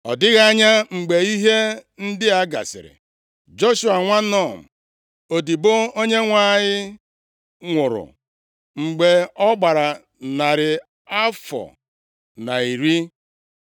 Ọ dịghị anya, mgbe ihe ndị a gasịrị, Joshua nwa Nun, odibo Onyenwe anyị nwụrụ, mgbe ọ gbara narị afọ na iri.